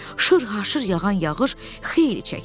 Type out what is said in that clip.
Şırhaşır yağan yağış xeyli çəkdi.